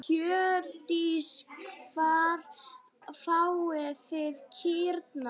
Hjördís: Hvar fáið þið kýrnar?